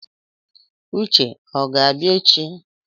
Uche o ga-abịa echi?